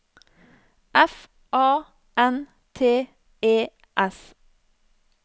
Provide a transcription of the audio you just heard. F A N T E S